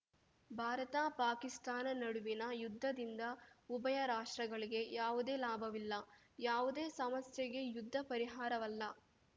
ಭಾರತಪಾಕಿಸ್ತಾನ ನಡುವಿನ ಯುದ್ಧದಿಂದ ಉಭಯ ರಾಷ್ಟ್ರಗಳಿಗೆ ಯಾವುದೇ ಲಾಭವಿಲ್ಲ ಯಾವುದೇ ಸಮಸ್ಯೆಗೆ ಯುದ್ಧ ಪರಿಹಾರವಲ್ಲ